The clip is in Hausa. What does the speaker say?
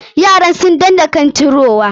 Yaran sun danna kan cirowa.